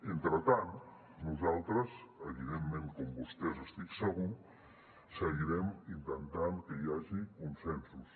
entretant nosaltres evidentment com vostès n’estic segur seguirem intentant que hi hagi consensos